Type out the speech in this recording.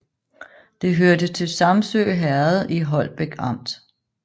Det hørte til Samsø Herred i Holbæk Amt